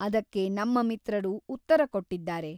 ಅದಕ್ಕೆ ನಮ್ಮ ಮಿತ್ರರು ಉತ್ತರ ಕೊಟ್ಟಿದ್ದಾರೆ.